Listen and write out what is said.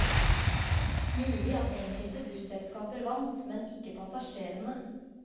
Mulig at enkelte busselskaper vant, men ikke passasjerene.